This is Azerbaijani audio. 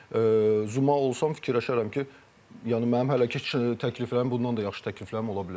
Çünki Zuma olsam fikirləşərəm ki, yəni mənim hələ ki təkliflərim, bundan da yaxşı təkliflərim ola bilər.